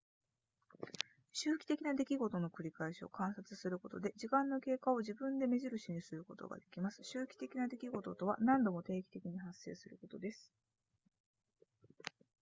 周期的な出来事の繰り返しを観察することで時間の経過を自分で目印にすることができます周期的な出来事とは何度も定期的に発生することです